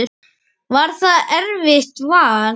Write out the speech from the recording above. Var það erfitt vall?